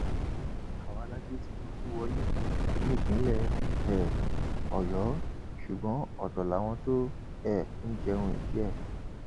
àwa la gbé tinubu wọlé nípínlẹ um ọyọ ṣùgbọn ọtọ làwọn tó um ń jẹun ìdí ẹ